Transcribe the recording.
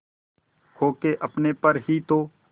खो के अपने पर ही तो